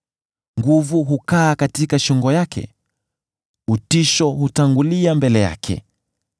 Nguvu hukaa katika shingo yake; utisho hutangulia mbele yake.